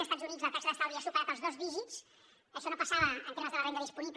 a estats units la taxa d’estalvi ha superat els dos dígits en termes de la renda disponible